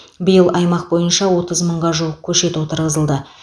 биыл аймақ бойынша отыз мыңға жуық көшет отырғызылды